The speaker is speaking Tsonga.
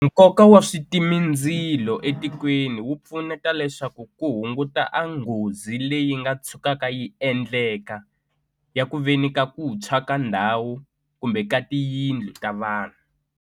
Nkoka wa switimindzilo etikweni wu pfuneta leswaku ku hunguta a nghozi leyi nga tshukaka yi endleka ya ku veni ka ku tshwa ka ndhawu kumbe ka tiyindlu ta vanhu.